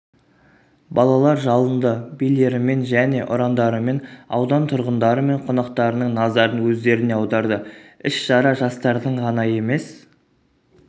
балалар жалынды билерімен және ұрандарымен аудан тұрғындары мен қонақтарының назарын өздеріне аударды іс-шара жастардың ғана емес